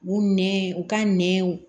U nɛn u ka nɛnw